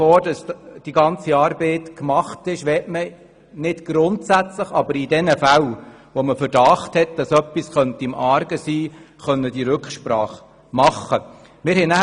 Bevor die ganze Arbeit gemacht ist, möchte man nicht grundsätzlich, aber in jenen Fällen, wo ein Verdacht besteht, Rücksprache halten können.